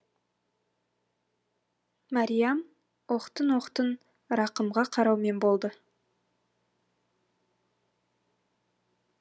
мәриям оқтын оқтын рақымға қараумен болды